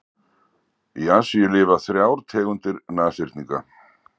Í Asíu lifa þrjár tegundir nashyrninga.